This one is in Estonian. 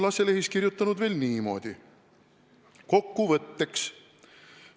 Lasse Lehis on kirjutanud veel niimoodi: "Kokkuvõtteks.